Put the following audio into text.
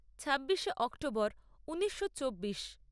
ছাব্বিশে অক্টোবর ঊনিশো চব্বিশ